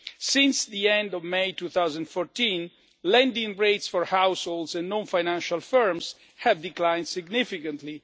Since the end of May 2014, lending rates for households and non financial firms have declined significantly.